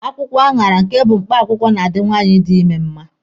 Akwụkwọ aṅara nke bụ mkpakwụwkọ na-adi nwaanyị di ime mma.